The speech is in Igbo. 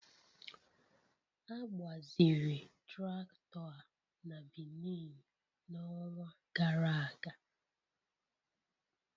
A gbaziri traktọ a na Benin n'ọnwa gara aga.